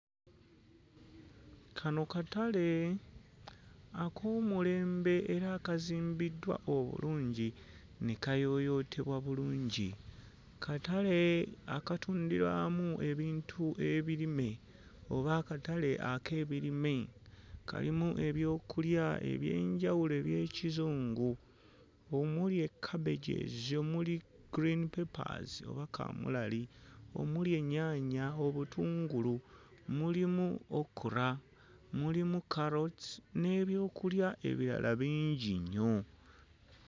Kano katale ak'omulembe era akazimbiddwa obulungi ne kayooyootebwa bulungi, katale akatundira wamu ebintu ebirime oba akatale ak'ebirime, kalimu eby'okulya eby'enjawulo eby'ekizingu omuli eccabages, omuli green papers oba kamulali omuli ennyaanya obutungulu, mulimu okra, mulimu carrots n'ebyokulya ebirala bingi nnnyo.